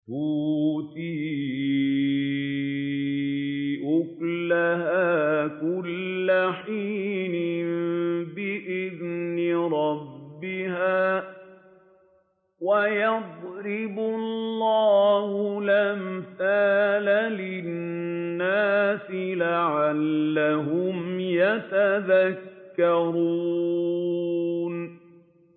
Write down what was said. تُؤْتِي أُكُلَهَا كُلَّ حِينٍ بِإِذْنِ رَبِّهَا ۗ وَيَضْرِبُ اللَّهُ الْأَمْثَالَ لِلنَّاسِ لَعَلَّهُمْ يَتَذَكَّرُونَ